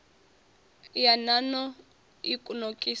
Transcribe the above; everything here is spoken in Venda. ya nan o i nokisaho